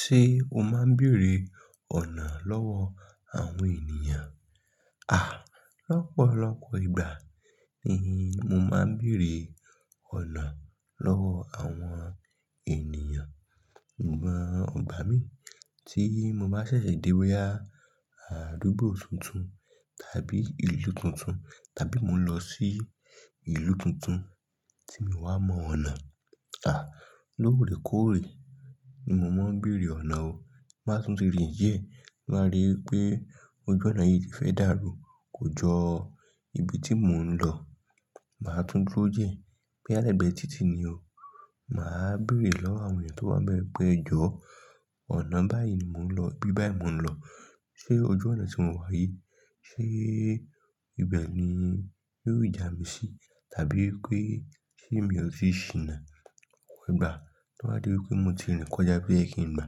Ṣé o máa ń bèèrè ọ̀nà lọ́wọ́ àwọn ènìyàn? À, lọ́pọ̀lọpọ̀ ìgbà ni mo máa ń bèèrè ọ̀nà lọ́wọ́ àwọn ènìyàn. Gbà ìgbà mí tí mo bá ṣẹ̀ṣẹ̀ dé boyá àdúgbò tuntun tàbí ìlú tuntun tàbí mo lọ sí ìlú tuntun tí mi ò wá mọ ọ̀nà. À, lóòrèkóòrè ni mo máa ń bèèrè ọ̀nà o. Máa tún ti rìn díẹ̀ tin ba rí pé ojú ọ̀nà yìí ti fẹ́ dàrú kò jọ ibi tí mò ń lọ. Màá tún dúró díẹ̀ bóyá lẹ̀gbẹ́ títì ni o. Màá bèèrè lọ́wọ́ àwọn ènìyàn tó wà n bẹ́ẹ̀ pé ẹ jọ ọ̀nà báyìí mò ń lọ, ibi báyìí mò ń lọ. Ṣé ojú ọ̀nà tí mo wá yìí, ṣe ibẹ̀ ni yóò jà mí sí? Tàbí pé ṣé mi ò tíì ṣìnà? Ọ̀pọ̀ ìgbà tó bá dé pé mo ti rìn kọjá ibi tó yẹkìn gbà,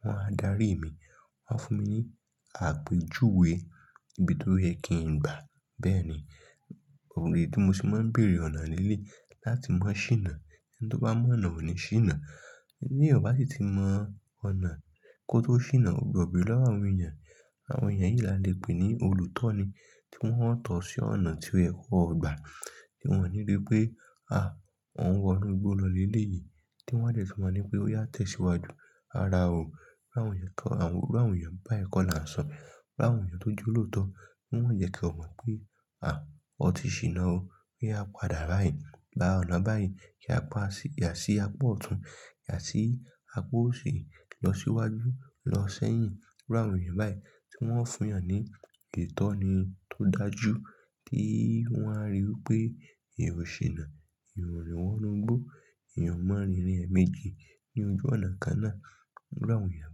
wọ́n á darí mi. Wọ́n á fún mi ní àpèjúwe ibi tó yẹ́ kìn gbà. Bẹ́ẹ̀ ni, òrùlé tí mo sì máa ń bèèrè ọ̀nà nílé láti mọ ṣìnà. Ẹni tó bá mọ ọ̀nà ọ̀ní ṣìnà. Bí èèyàn bá sì ti mọ ọ̀nà kó tó ṣìnà, ó gbọ̀dọ̀ béèrè lọ́wọ́ àwọn ènìyàn. Àwọn èèyàn yìí la lè pè ní olùtọni tí wọ́n ò tọ́ sí ọ̀nà tí óye kò ọ̀gbà tí wọ́n ò ní dé pé, à, wọ́n ń wọ inú igbó lọ lé ilé yìí tí wọ́n á sì mọ̀ ní pé ó yá tẹ̀síwájú. Rárá o. Irú àwọn èèyàn kan, irú àwọn èèyàn bá ìkọlà sọ. Irú àwọn èèyàn tó jọ̀lọ̀tọ̀ tí wọ́n jẹ́ kí o mọ̀ pé, à, o ti ṣìnà o. Pé a padà báyìí. Gba ọ̀nà báyìí kí a pa sí, yà sí apá ọ̀tún, yà sí apá òsì, lọ síwájú, lọ sẹ́yìn. Irú àwọn èèyàn báyìí tí wọ́n ń fún ìyàn ní ìtọ́ni tó dájú tí wọ́n á rí pé èrò ṣìnà, èyàn òrìn wọ inú igbó, èèyàn máa rin ìrìn ẹ̀ méjì ní ojú ọ̀nà kan náà. Irú àwọn èèyàn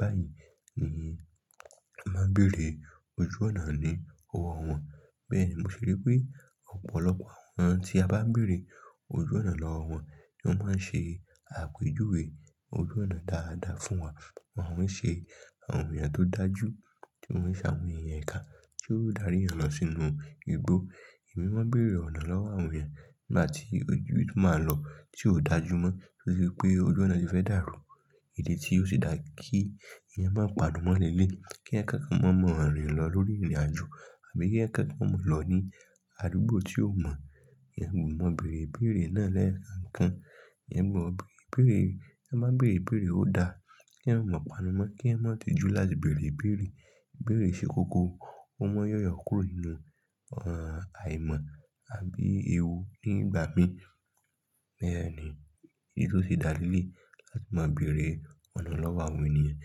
báyìí ni màá bèèrè ojú ọ̀nà ní ọwọ́ wọn. Bẹ́ẹ̀ni mo ṣère pé ọ̀pọ̀lọpọ̀ àwọn tí a bá bèèrè ojú ọ̀nà lọ́wọ́ wọn ni wọ́n máa ń ṣe àpèjúwe ojú ọ̀nà dáadáa fún wa. Wọn ò ṣe àwọn èèyàn tó dájú tí wọ́n ṣe àwọn ẹ̀ya ìkà tí ó dári ìyàn lọ sínú igbó. Èmi má bèèrè ọ̀nà lọ́wọ́ àwọn èèyàn nígbà tí ojú tí mo máa lọ tí ò dájú mọ́ torí pé ojú ọ̀nà ti fẹ́ dàrú. Ìdí tí ó sì dáa kí ẹ̀yàn má panu mọ́ lẹ́lẹ́, kí èyàn ma kẹ́kọ̀ọ́ má mọ rìn lọ lórí ìrìnàjò àbí kí ẹ̀ kẹ́kọ̀ọ́ mọ̀ lọ ní àdúgbò tí ò mọ̀. Ẹ̀yin ò mọ bèèrèbèèrè náà lẹ́ẹ̀kan. Ẹ̀yin ò mọ bèèrèbèèrè, ẹ má bèèrèbèèrè ó dáa. Kí ẹ̀ ò mọ pàdánù mọ́, kí ẹ̀ mọ̀ tì jú láti bèèrèbèèrè. Bèèrè ṣe kókó, o máa yọ̀yọ̀ kúrò nínú, ẹ́, àìmọ̀ àbí ewu nígbà mí. Bẹ́ẹ̀ ni èyí tó sì dáa lẹ́lẹ́ láti máa bèèrè ọ̀nà lọ́wọ́ àwọn ènìyàn.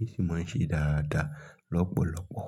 Èmi sì má ń ṣe dáradára lọ́pọ̀lọpọ̀.